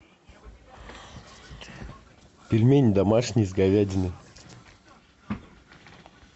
пельмени домашние с говядиной